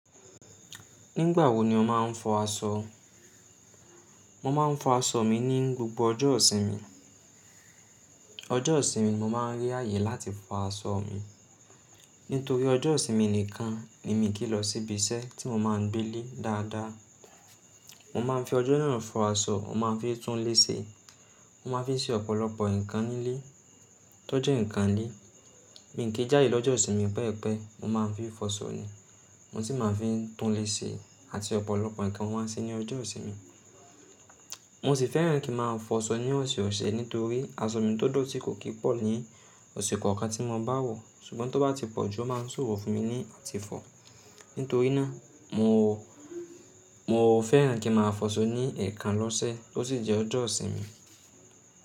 Nígbà wo ni o máa ń fọ aṣọ? Mo máa ń fọ aṣọ mi ní gbogbo ọjọ́ ìsinmi. Ọjọ́ ìsinmi mo máa ń rí àyè láti fọ aṣọ mi, nítorí ọjọ́ ìsinmi nìkan ni mí kí lọ síbi iṣẹ́ tí mo máa ń gbé ílé dáadáa. Mo máa ń fi ọjọ́ náà fọ aṣọ, mo máa ń fi túnlé ṣe, mo máa ń fi ṣe ọ̀pọ̀lọpọ̀ nǹkan nílé tó jẹ́ nǹkan lé. Mi n ki jáde lọ́jọ́ ìsinmi pẹepẹe, mo máa ń fi fọṣọ ni, mo sì máa ń fi túnlé ṣe àti ọ̀pọ̀lọpọ̀ nǹkan mo maa n ṣe ní ọjọ́ ìsinmi. Mo sì fẹ́ràn kí n máa fọṣọ ní ọ̀sẹ̀-ọ̀sẹ̀ nítorí aṣọ mi tó dọ̀tí kò kí pọ̀ ní ọ̀sẹ̀ kọ̀ọ̀kan tí mo bá wọ̀, ṣùgbọ́n tó bá ti pọ̀jù ó máa ń ṣòro fún mi ní àti fọ. Nítorí náà mo, mo fẹ́ràn kí n máa fọṣọ ní eekan lọ́sẹ̀ tó sì jẹ́ ọjọ́ ìsinmi.